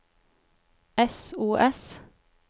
sos